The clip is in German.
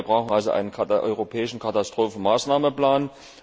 Wir brauchen also einen europäischen Katastrophenmaßnahmenplan.